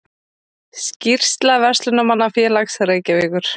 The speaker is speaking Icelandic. Skýrsla Verslunarmannafélags Reykjavíkur